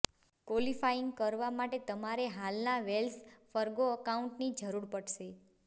qualifying કરવા માટે તમારે હાલના વેલ્સ ફર્ગો એકાઉન્ટની જરૂર પડશે